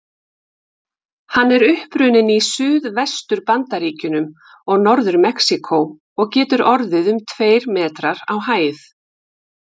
Hann er upprunninn í Suðvestur-Bandaríkjunum og Norður-Mexíkó og getur orðið um tveir metrar á hæð.